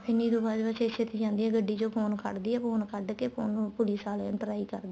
ਨੀਰੂ ਬਾਜਵਾ ਛੇਤੀਂ ਛੇਤੀਂ ਜਾਂਦੀ ਆ ਗੱਡੀ ਚੋ phone ਕੱਢਦੀ ਆ phone ਕੱਢਕੇ phone ਨੂੰ police ਵਾਲਿਆ ਨੂੰ try ਕਰਦੀ ਏ